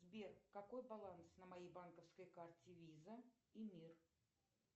сбер какой баланс на моей банковской карте виза и мир